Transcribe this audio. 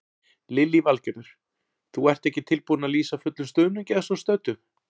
Lillý Valgerður: Þú ert ekki tilbúinn að lýsa fullum stuðningi að svo stöddu?